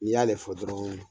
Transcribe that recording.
N'i y'ale fɔ dɔrɔn